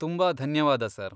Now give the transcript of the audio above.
ತುಂಬಾ ಧನ್ಯವಾದ ಸರ್.